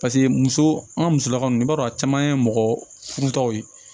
Paseke muso an ka musolakaw i b'a dɔn a caman ye mɔgɔ furutɔw ye